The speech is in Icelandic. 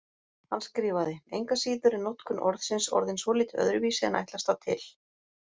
Hann skrifaði: Engu að síður er notkun orðsins orðin svolítið öðruvísi en ætlast var til.